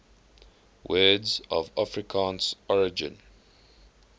words of afrikaans origin